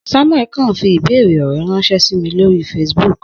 Samuel kan fi ibeere ọrẹ ranṣẹ si mi lori Facebook.